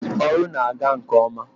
ọrụ na-aga nke ọma.